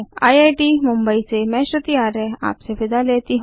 IIT Mumbai से मैं श्रुति आर्य आपसे विदा लेती हूँ